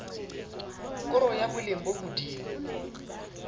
koro ya boleng bo hodimo